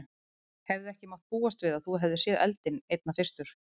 Hefði ekki mátt búast við að þú hefðir séð eldinn einna fyrstur?